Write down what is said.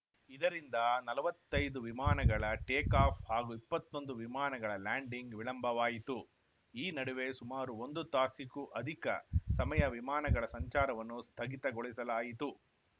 ಇದರಿಂದ ನಲವತ್ತೈದು ವಿಮಾನಗಳ ಟೇಕಾಫ್‌ ಹಾಗೂ ಇಪ್ಪತ್ತೊಂದು ವಿಮಾನಗಳ ಲ್ಯಾಂಡಿಂಗ್‌ ವಿಳಂಬವಾಯಿತು ಈ ನಡುವೆ ಸುಮಾರು ಒಂದು ತಾಸಿಗೂ ಅಧಿಕ ಸಮಯ ವಿಮಾನಗಳ ಸಂಚಾರವನ್ನು ಸ್ಥಗಿತಗೊಳಿಸಲಾಯಿತು